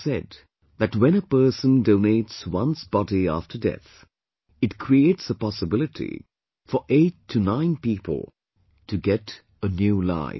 It is said that when a person donates one's body after death, it creates a possibility for eight to nine people to get a new life